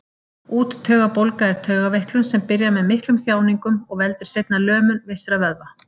Úttaugabólga er taugaveiklun sem byrjar með miklum þjáningum og veldur seinna lömun vissra vöðva.